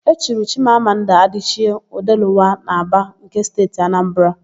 E chiri Chimamanda Adịchie, Ọdelụwa n'Ábàa nke Steeti Anambara.